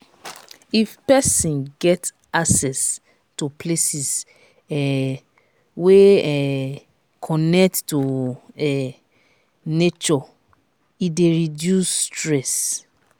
if persin get access to places um wey um connect to um nature e de reduce stress